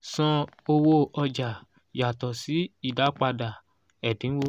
san owó ọjà yàtọ sí ìdápadà ẹ̀dínwó